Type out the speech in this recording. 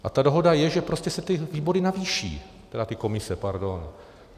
A ta dohoda je, že prostě se ty výbory navýší, tedy ty komise, pardon.